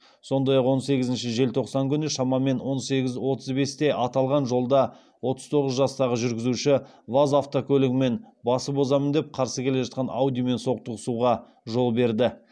сондай ақ он сегізінші желтоқсан күні шамамен он сегіз отыз бесте аталған жолда отыз тоғыз жастағы жүргізуші ваз автокөлігімен басып озамын деп қарсы келе жатқан аудимен соқтығысуға жол берді